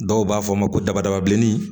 Dɔw b'a fɔ ma ko dabada bilenni